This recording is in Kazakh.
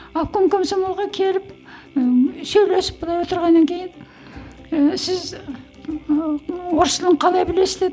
обком комсомолға келіп ііі сөйлесіп былай отырғаннан кейін ііі сіз ыыы орыс тілін қалай білесіз деді